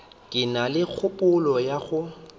ke na kgopolo ya go